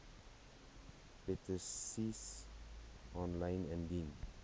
petisies aanlyn indien